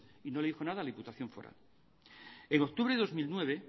y no le dijo nada a la diputación foral en octubre de dos mil nueve